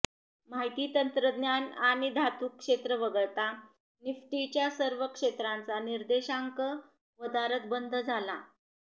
माहिती तंत्रज्ञान आणि धातू क्षेत्र वगळता निफ्टीच्या सर्व क्षेत्राचा निर्देशांक वधारत बंद झाला